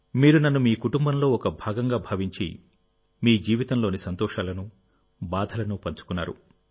మీరు నన్ను మీ కుటుంబంలో ఒక భాగంగా భావించి మీ జీవితంలోని సంతోషాలను బాధలను పంచుకున్నారు